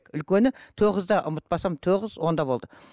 үлкені тоғызда ұмытпасам тоғыз онда болды